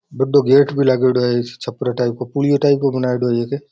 बड़ा गेट भी लागेडो है इस छपरा टाइप का पुलियो टाइप का बनायेडो है एक।